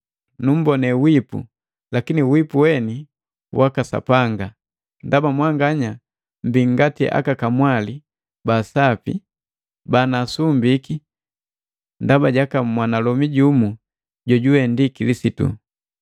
Numbonee wipu, lakini wipu weni waka Sapanga, ndaba mwanganya mmbii ngati kamwali wa sapi jonunsumbaki ndaba jaka mwanalomi jumu jojuwe ndi Kilisitu.